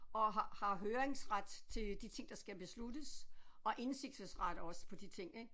Og har har høringsret til de ting der skal besluttes og indsigelsesret også på de ting ik